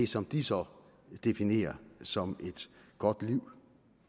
som de så definerer som et godt liv